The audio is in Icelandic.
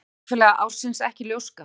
Leikfélagi ársins ekki ljóska